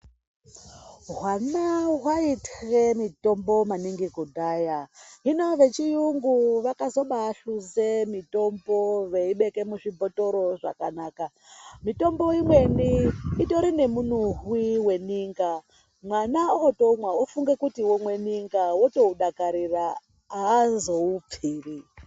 Hwana hwaitye mitombo maningi kudhaya, hino vechiyungu vakazobahluze mitombo veibeke muzvibhothoro zvakanaka, mitombo imweni itori nemunuhwi weninga, mwana omwa ofunga kuti otomwe ninga otoudakarira haazoupfiri.